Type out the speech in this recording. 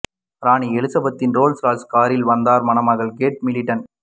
ராணி எலிசபெத்தின் Rolls Royce காரில் வந்தார் மணமகள் கேட் மிடில்டன்